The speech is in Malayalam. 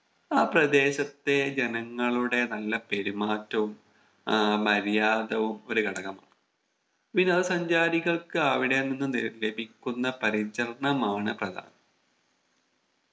ആ പ്രദേശത്തെ ജനങ്ങളുടെ നല്ല പെരുമാറ്റവും ആഹ് മര്യാദവും ഒരു ഘടകമാണ് വിനോദ സഞ്ചാരികൾക്ക് അവിടെ നിന്നും ലഭിക്കുന്ന പരിചരണമാണ് പ്രധാനം